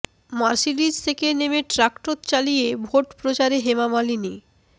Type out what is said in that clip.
Mercedes থেকে নেমে tractor চালিয়ে ভোট প্রচারে হেমা মালিনী